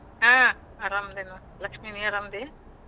ಹಾ. ಆರಾಮದೇವಿ ನೋಡ್ ಲಕ್ಷ್ಮೀ. ನೀ ಆರಾಮದಿ?